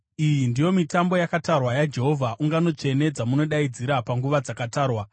“ ‘Iyi ndiyo mitambo yakatarwa yaJehovha, ungano tsvene dzamunodaidzira panguva dzakatarwa.